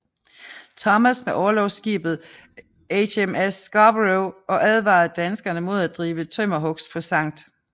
Thomas med orlogsskibet HMS Scarborough og advarede danskerne mod at drive tømmerhugst på Skt